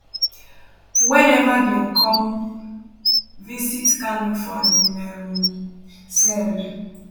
whenever dem come visit kanu for im um cell